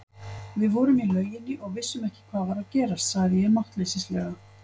Við vorum í lauginni og vissum ekki hvað var að gerast, sagði ég máttleysislega.